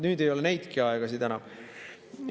Nüüd ei ole neidki aegasid enam.